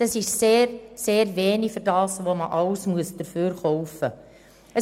Das ist sehr, sehr wenig für das, was man alles für diesen Betrag kaufen muss.